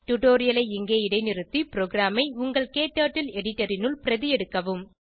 டுடோரியலை இங்கே இடைநிறுத்தி ப்ரோகிராமை உங்கள் க்டர்ட்டில் எடிட்டர் னுள் பிரதி எடுக்கவும்